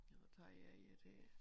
Lad mig tage jeg et her